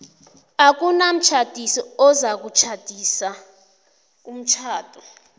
akunamtjhadisi ozakutlolisa umtjhado